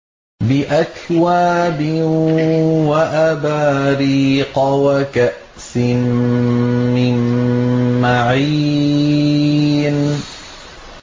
بِأَكْوَابٍ وَأَبَارِيقَ وَكَأْسٍ مِّن مَّعِينٍ